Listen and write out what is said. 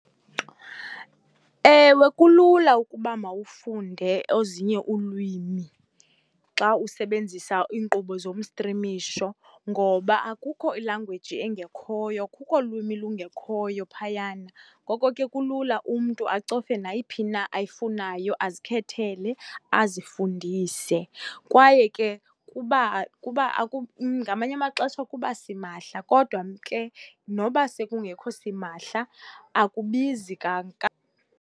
Ewe, kulula ukuba mawufunde ezinye ulwimi xa usebenzisa iinkqubo zomstrimisho ngoba akukho ilanguwiji engekhoyo, akukho lwimi lungekhoyo phayana. Ngoko ke kulula umntu acofe nayiphi na ayifunayo azikhethele, azifundise. Kwaye ke kuba ngamanye amaxesha kuba simahla kodwa ke noba sekungekho simahla, akubizi .